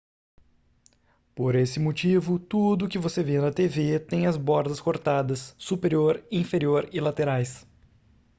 por esse motivo tudo o que você vê na tv tem as bordas cortadas superior inferior e laterais